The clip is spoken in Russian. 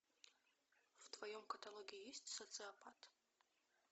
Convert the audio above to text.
в твоем каталоге есть социопат